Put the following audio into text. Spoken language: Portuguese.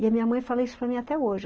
E a minha mãe fala isso para mim até hoje.